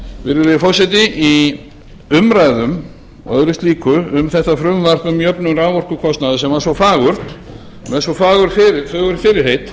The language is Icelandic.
virðulegi forseti í umræðum og öðru slíku um þetta frumvarp um jöfnun raforkukostnaðar sem var svo fagurt með svo fögur fyrirheit